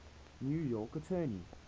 new york attorney